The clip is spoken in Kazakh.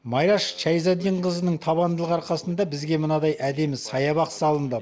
майраш шаизиддинқызының табандылығы арқасында бізге мынадай әдемі саябақ салынды